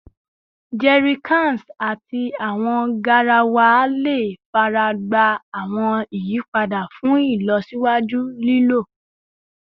Jerrycans ati awọn garawa le faragba awọn iyipada fun ilọsiwaju lilo